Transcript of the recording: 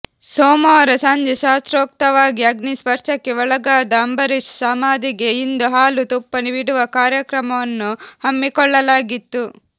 ಸೋಮವಾರ ಸಂಜೆ ಶಾಸ್ತ್ರೋಕ್ತವಾಗಿ ಅಗ್ನಿ ಸ್ಪರ್ಶಕ್ಕೆ ಒಳಗಾದ ಅಂಬರೀಶ್ ಸಮಾಧಿಗೆ ಇಂದು ಹಾಲು ತುಪ್ಪ ಬಿಡುವ ಕಾರ್ಯವನ್ನು ಹಮ್ಮಿಕೊಳ್ಳಲಾಗಿತ್ತು